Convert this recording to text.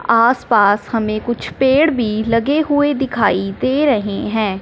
आस पास हमें कुछ पेड़ भी लगे हुए दिखाई दे रहे हैं।